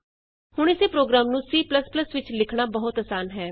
ਹੁਣ ਇਸੇ ਪ੍ਰੋਗਰਾਮ ਨੂੰ C ਵਿਚ ਲਿਖਣਾ ਬਹੁਤ ਆਸਾਨ ਹੈ